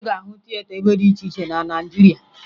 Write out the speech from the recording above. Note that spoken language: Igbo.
Ị ga-ahụ tieta ebe dị iche iche na Naịjirịa